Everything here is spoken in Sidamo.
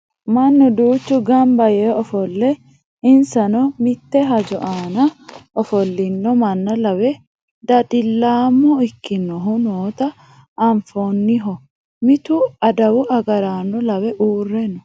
Mannu duuchu ganba yee ofolle insano mitte hajo aana ofollino manna lawe dadillaamo ikkinohu noota anfanniho mittu adawu agaraano lawe uurre no